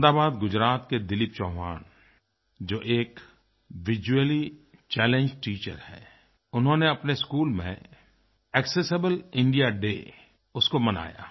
अहमदाबाद गुजरात के दिलीप चौहान जो एक विजुअली चैलेंज्ड टीचर हैं उन्होंने अपने स्कूल में एक्सेसिबल इंडिया डे उसको मनाया